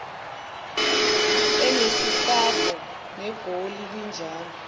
enesihlava negoli linjalo